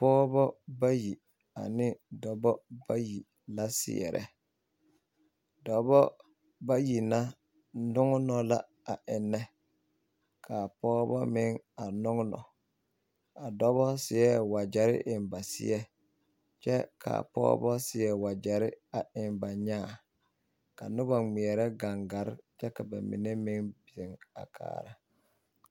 Pɔgeba bayi ane dɔbɔ bayi la seɛrɛ dɔbɔ bayi na nɔŋnɔ la a ennɛ ka a pɔgebɔ meŋ a nɔŋnɔ a dɔbɔ seɛ wagyɛre eŋ ba seɛ kyɛ ka pɔgebɔ seɛ wagyɛre a eŋ ba nyaa ka noba ŋmeɛrɛ kaŋgare kyɛ ka ba mine meŋ zeŋ a kaara.